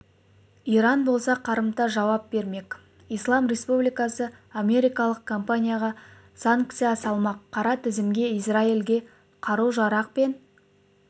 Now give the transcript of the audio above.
иран болса қарымта жауап бермек ислам республикасы америкалық компанияға санкция салмақ қара тізімге израильге қару-жарақ пен